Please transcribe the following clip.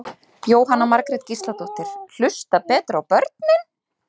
Jóhanna Margrét Gísladóttir: Hlusta betur á börnin?